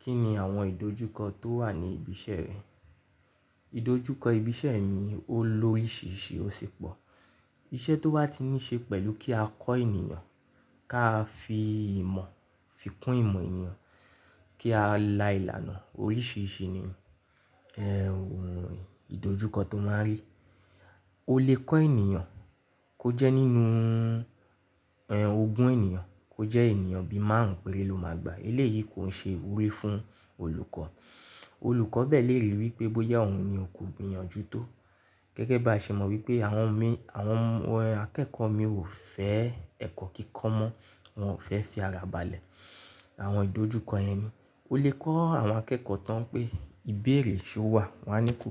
Kí ni àwọn ìdojúkọ tó wà ní ibi iṣẹ́ rẹ? Ìdojúkọ ibi iṣẹ́ mi o ló oríṣìíríṣìí ó sì pọ̀. Iṣẹ́ tó bá ti ní ṣe pẹ̀lú kí a kọ́ ènìyàn, ká fi ìmọ̀, fi kún ìmọ̀ ènìyàn, kí a la ìlànà oríṣìíríṣìí ni, ìdojúkọ tó máa ń rí. O lè kọ́ ènìyàn kó jẹ́ nínú, ogún ènìyàn kó jẹ́ ènìyàn bí màárun péré ló máa gba. Eléyìí kò ń ṣe ìwúrí fún olùkọ́. Olùkọ́ bẹ́ẹ̀ lè ríi wípé bóyá òun ni òun kò gbìyànjú tó. Gẹ́gẹ́ bá ṣe mọ wípé àwọn mìí, àwọn akẹ́ẹ̀kọ́ mi ò fẹ́ ẹ̀kọ́ kíkọ́ mọ́, wọn ò fẹ́ fi ara balẹ̀. Àwọn ìdojúkọ yẹn ni. O lè kọ́ àwọn akẹ́kọ̀ọ́ tán pé ìbéèrè ṣe ó wà, wọ́n á ní kò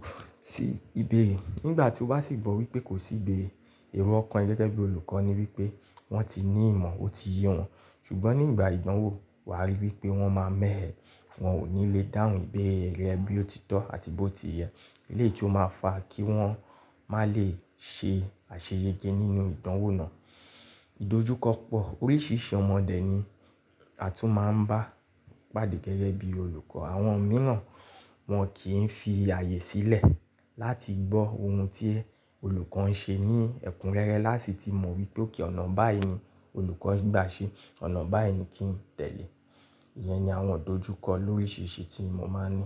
sí ìbéèrè. Nígbà tí ó bá sì gbọ́ wípé kò sí ìbéèrè, èrò ọkàn rẹ gẹ́gẹ́ bí olùkọ́ ni wípé wọ́n ti ní ìmọ̀, ó ti yé wọn. Ṣùgbọ́n nígbà ìdánwò wà á ríi wípé wọ́n máa ń mẹ́hẹ, wọ́n ò ní lè dáhùn ìbéèrè rẹ bí ó ti tọ́ àti bó ti yẹ. Eléyìí tí ó máa fà kí wọ́n má lè ṣe àṣeyege nínú ìdánwò náà. Ìdojúkọ pọ̀, oríṣiríṣi ọmọ dẹ́ ni a tún máa ń bá pàdé gẹ́gẹ́ bí olùkọ́. Àwọn mìíràn wọn kì í fi ààyè sílẹ̀ láti gbọ́ ohun tí olùkọ́ ń ṣe ní ẹ̀kúnrẹ́rẹ́ láti ti mọ wípé ọ̀nà báyìí ni olùkọ́ gba ṣe, ọ̀nà báyìí ni kí n tẹ̀lé. Ìyẹn ni àwọn ìdojúkọ lóríṣìíríṣìí tí mo máa ń ní.